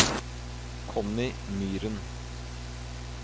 Connie Myren